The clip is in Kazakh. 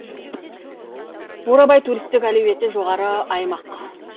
бурабай туристік әлеуеті жоғары аймақ